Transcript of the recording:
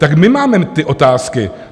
Tak my máme ty otázky.